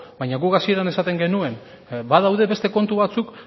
baina guk hasieran esaten genuen badaude beste kontu batzuk